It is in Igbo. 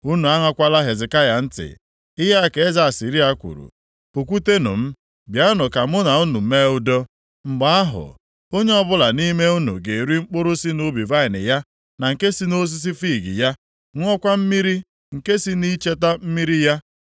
“Unu aṅakwala Hezekaya ntị. Ihe a ka eze Asịrịa kwuru: Pụkwutenụ m, bịanụ ka mụ na unu mee udo. Mgbe ahụ, onye ọbụla nʼime unu ga-eri mkpụrụ si nʼubi vaịnị ya na nke si nʼosisi fiig ya, ṅụọkwa mmiri nke si nʼihe icheta mmiri ya: